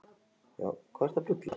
Mjög góður völlur.